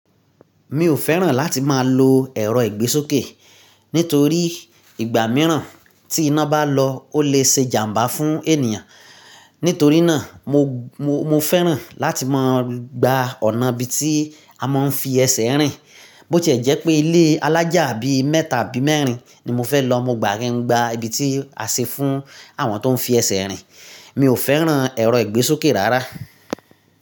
Mi ò fẹ́ràn láti máa lo ẹ̀rọ ìgbésókè, nítorí ìgbà mìíràn tí iná bá lọ ó lè se jàmbá fún ènìyàn. Nítorí náà mo, mo, mo fẹ́ràn láti máa gba ọ̀nà ibi tí a máa ń fi ẹsẹ̀ rìn. Bó ti ẹ jẹ́ pée ilé alájà bí mẹ́ta àbí mẹ́rin, ní mo fẹ́ lọ, mo gbà àrín un gbà ibi tí a ṣe fún àwọn tó ń fi ẹsẹ̀ rìn. Mi ò fẹ́ràn ẹ̀rọ ìgbésókè rárá.